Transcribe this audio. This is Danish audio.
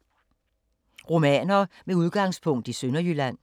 Romaner med udgangspunkt i Sønderjylland